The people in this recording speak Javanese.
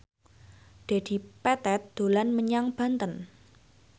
Dedi Petet dolan menyang Banten